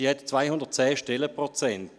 Sie hat 210 Stellenprozente.